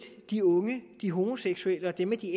er de unge de homoseksuelle og dem